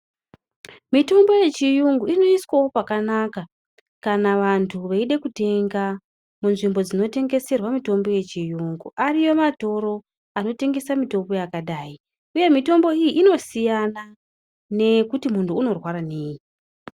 Mitombo yechiungu inoiswawo pakanaka kana vantu veide tenga munzvimbo dzinotengeserwe mitombo yechiungu ariyo matoro anotengesa mitombo yakadai uyu mitombo iyi inosiyana nekuti munhu anorwara nei.